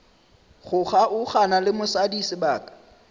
go kgaogana le mosadi sebaka